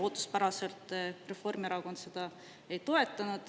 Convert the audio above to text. Ootuspäraselt Reformierakond seda ei toetanud.